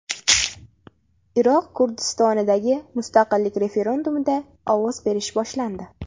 Iroq Kurdistonidagi mustaqillik referendumida ovoz berish boshlandi.